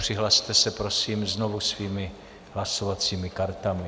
Přihlaste se prosím znovu svými hlasovacími kartami.